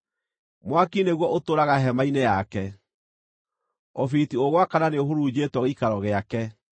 Mwaki nĩguo ũtũũraga hema-inĩ yake; ũbiriti ũgwakana nĩũhurunjĩtwo gĩikaro gĩake.